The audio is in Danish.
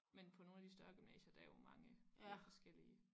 Men på nogle af de større gymnasier der er jo mange helt forskellige